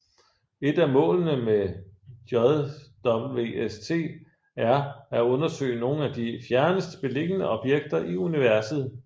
Et af målene med JWST er at undersøge nogle af de fjernest beliggende objekter i Universet